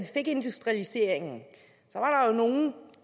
fik industrialiseringen